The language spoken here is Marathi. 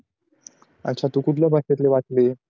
अच्छा तू कुठल्या भाषेतली वाचली आहे